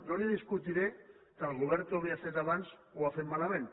no li discutiré que el govern que ho havia fet abans ho va fer malament